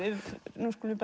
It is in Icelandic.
nú skulum